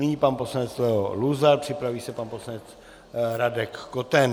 Nyní pan poslanec Leo Luzar, připraví se pan poslanec Radek Koten.